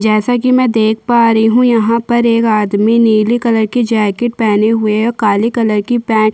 जैसा की मै देख पा रही हूँ यहाँ पर एक आदमी नीले कलर की जैकेट पहने हुए है काले कलर की पैंट --